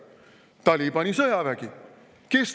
Talibani sõjavägi!